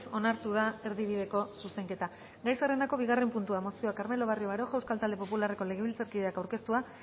onartu da erdibideko zuzenketa gai zerrendako bigarren puntua mozioa carmelo barrio baroja euskal talde popularreko legebiltzarkideak aurkeztua